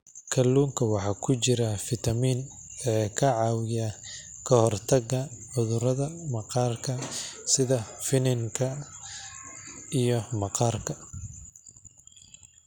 Kalluunka waxaa ku jira fiitamiin e ka caawiya ka hortagga cudurrada maqaarka sida finanka iyo maqaarka.